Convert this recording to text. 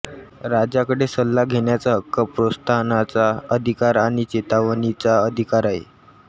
राजाकडे सल्ला घेण्याचा हक्क प्रोत्साहनाचा अधिकार आणि चेतावणीचा अधिकार आहे